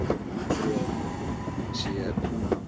nokkuð sem sé trúnaðarmál.